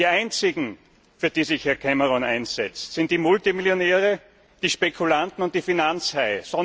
Die einzigen, für die sich Herr Cameron einsetzt, sind die Multimillionäre, die Spekulanten und die Finanzhaie.